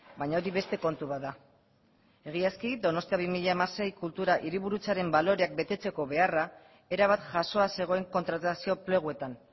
baina hori beste kontu bat da egiazki donostia bi mila hamasei kultura hiriburutzaren baloreak beteko beharra erabat jasoa zegoen kontratazio pleguetan